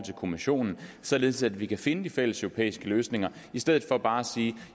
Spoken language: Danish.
kommissionen således at vi kan finde fælleseuropæiske løsninger i stedet for bare at sige